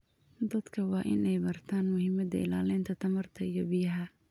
Dadka waa in ay bartaan muhiimada ilaalinta tamarta iyo biyaha.